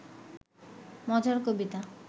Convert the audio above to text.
মজার কবিতা